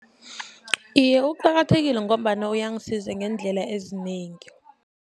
Iye, uqakathekile ngombana uyangisiza ngeendlela ezinengi.